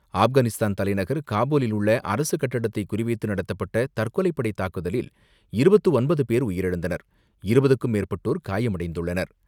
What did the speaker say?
ஆப்கானிஸ்தான் தலைநகர் காபூலில் உள்ள அரசு கட்டடத்தை குறி வைத்து நடத்தப்பட்ட தற்கொலைப்படை தாக்குதலில் இருபத்து ஒன்பது பேர் உயிரிழந்தனர், இருபதுக்கும் மேற்பட்டோர் காயமடைந்துள்ளனர்.